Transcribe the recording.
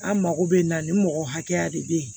An mako bɛ na ni mɔgɔ hakɛya de bɛ yen